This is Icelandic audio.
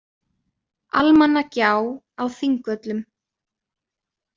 Almannagjá á Þingvöllum.